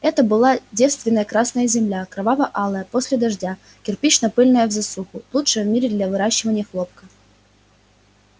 это была девственная красная земля кроваво-алая после дождя кирпично-пыльная в засуху лучшая в мире для выращивания хлопка